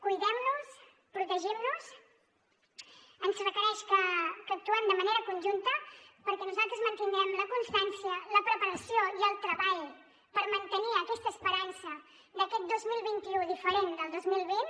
cuidem nos protegim nos ens requereix que actuem de manera conjunta perquè nosaltres mantindrem la constància la preparació i el treball per mantenir aquesta esperança d’aquest dos mil vint u diferent del dos mil vint